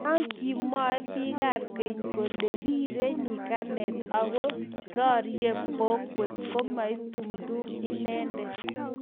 ya kimwoe biikab keny kole rirei nyikane aku rorie bokwet ko maitumtum inendet